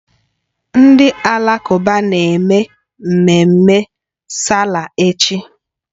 Ndị Alakụba na-eme mmemme sáálà echi